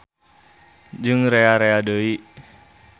Jeung rea-rea deui.